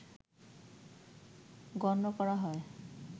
গণ্য করা হয়